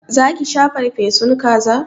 Za ki sha farfesun kaza?